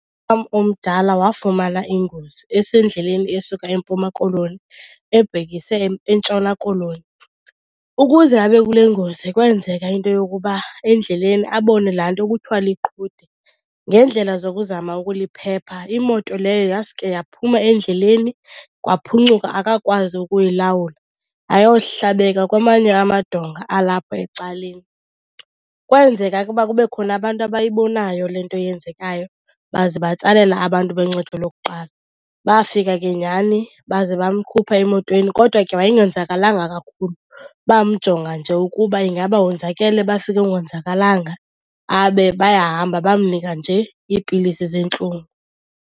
omdala wafumana ingozi esendleleni esuka eMpuma Koloni ebhekise eNtshona Koloni. Ukuze abe kule ngozi kwenzeka into yokuba endleleni abone laa nto kuthwa liqhude. Ngeendlela zokuzama ukuliphepha, imoto leyo yasuke yaphuma endleleni kwaphuncuka akakwazi ukuyilawula, yayohlabeka kwamanye amadonga alapho ecaleni. Kwenzeka ke uba kube khona abantu abayibonayo le nto yenzekayo baze batsalela abantu boncedo lokuqala. Bafika ke nyhani baze bamkhupha emotweni kodwa ke wayengonzakalanga kakhulu. Bamjonga nje ukuba ingaba wonzakele, bafika engonzakalanga babe bayahamba. Bamnika nje iipilisi zeentlungu.